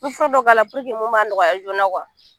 Me fura dɔw k' ala mun b'a nɔgɔya joona